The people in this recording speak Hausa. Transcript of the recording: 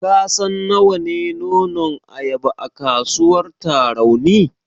Ka san nawa ne nonon ayaba a kasuwar Tarauni?